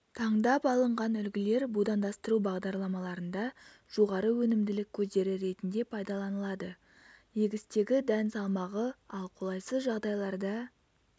таңдап алынған үлгілер будандастыру бағдарламаларында жоғары өнімділік көздері ретінде пайдаланылады егістегі дән салмағы ал қолайсыз жағдайларда